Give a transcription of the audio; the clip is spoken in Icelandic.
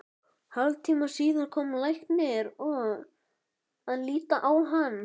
Hálftíma síðar kom læknir að líta á hann.